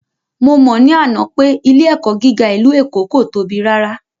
Mo mọ̀ ní àná pé ilé ẹ̀kọ́ gíga ìlú Èkó kò tóbi rárá